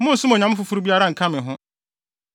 “Monnsom onyame foforo biara nka me ho.